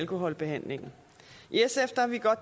korte bemærkninger